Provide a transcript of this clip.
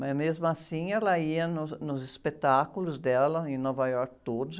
Mas, mesmo assim, ela ia nos, nos espetáculos dela em Nova Iorque todos.